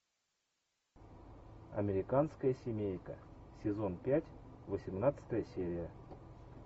американская семейка сезон пять восемнадцатая серия